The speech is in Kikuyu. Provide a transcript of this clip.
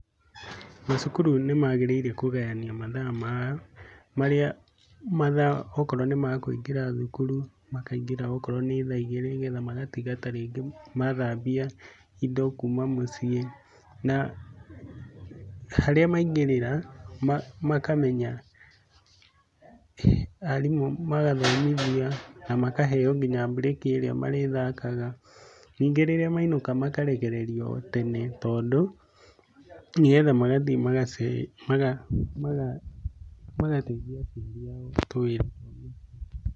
Macukurũ nĩ magĩrĩire kũgayanio mathaa mao marĩa mathaa okorwo nĩ makũingĩra thũkũrũ makaingĩra okorwo nĩ tha igĩrĩ magatĩga ta rĩngĩ mathambia indo kũma mũciĩ na harĩa maingĩrĩra makamenya arimũ magathomithia kamaheo nginya bũrĩki ĩrĩa marĩthakaga nĩ ngĩ rĩrĩa maĩnũka makarekererio tene tondũ nĩgetha magathiĩ magace maga maga magatheĩnthia aciari ao tũwĩra twa mũciĩ.